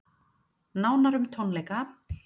Nánar um tónleika